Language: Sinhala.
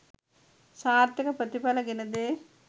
සාර්ථක ප්‍රතිඵල ගෙන දේ.